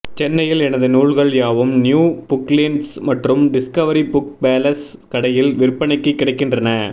சென்னையில் எனது நூல்கள் யாவும் நியூ புக்லேண்ட்ஸ் மற்றும் டிஸ்கவரி புக் பேலஸ் கடையில் விற்பனைக்கு கிடைக்கின்றன